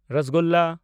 ᱨᱚᱥᱚᱜᱚᱞᱞᱟ